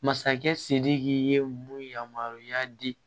Masakɛ sidiki ye mun yamaruya di